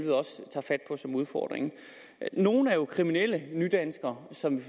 udfordring nogle er jo kriminelle nydanskere som vi